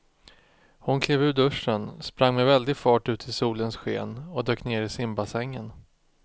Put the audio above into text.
Hon klev ur duschen, sprang med väldig fart ut i solens sken och dök ner i simbassängen.